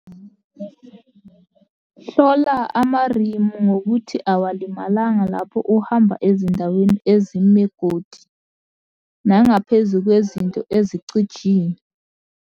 Hlola amarimu ngokuthi awalimalangala lapho uhamba ezindaweni ezimegodi nangaphezu kwezinto eicijile.